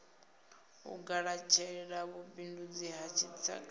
u galatshela vhubindundzi ha dzitshaka